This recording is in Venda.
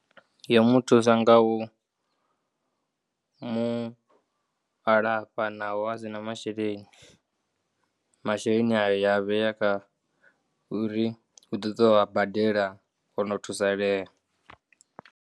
Yo muthusa ngau mu alafha naho a si na masheleni, masheleni aya ya vheya kha uri u ḓoḓi a badela ono thusaleya.